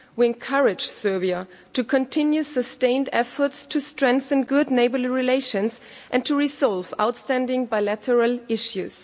We encourage Serbia to continue sustained efforts to strengthen good neighbourly relations and to resolve outstanding bilateral issues.